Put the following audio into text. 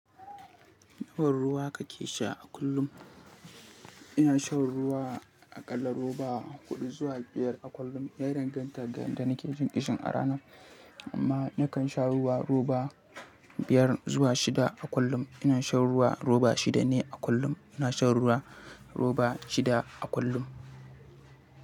Nawa ruwa kake sha a kullum? Ina shan ruwa aƙalla roba huɗu zuwa biyar a kullum. Ya danganta ga yanda nake jin ƙishin a ranar. Amma nakan sha ruwa roba biyar zuwa shida a kullum. Ina shan ruwa roba shida ne a kullum. Ina shan ruwa roba shida a kullum.